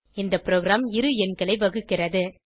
இந்த ப்ரோகிராம் இரு எண்களை வகுக்கிறது